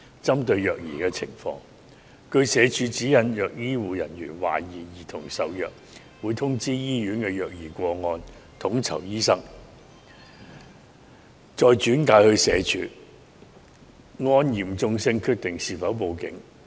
針對虐兒情況，根據社署指引，如醫護人員懷疑兒童受虐，會通知醫院的虐兒個案統籌醫生，再轉介社署，按嚴重性決定是否報警。